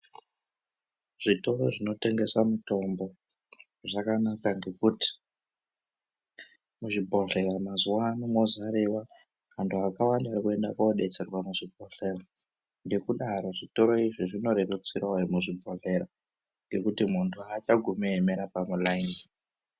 Zvitoro zvinotengesa mutombo zvakanaka ngekuti muzvibhedhlera mazuwano mozariwa anhu akawanda oenda kodetserwa muzvibhodhleya ngekudaro zvitoro izvi zvinorerutsira vemuzvibhedhlera ngekuti muntu achagumi eiemera pamulaini.